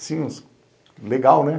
Assim, legal, né?